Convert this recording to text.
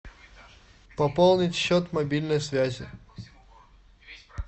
пополнить счет мобильной связи